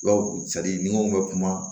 Bawo ni mun bɛ kuma